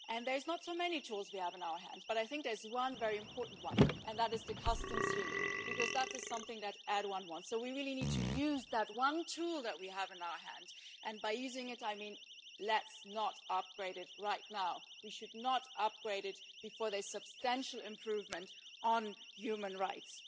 We do not have so many tools in our hands, but I think there is one very important one, and that is the Customs Union, because that is something that Erdoğan wants, so we really need to use that one tool we have in our hands, and by using it I mean let us not upgrade it right now. We should not upgrade it before there is substantial improvement on human rights.